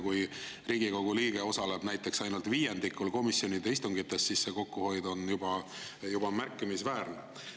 Kui Riigikogu liige osaleb näiteks ainult viiendikul komisjonide istungitest, siis see kokkuhoid on juba märkimisväärne.